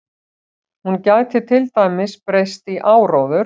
Hún gæti til dæmis breyst í áróður.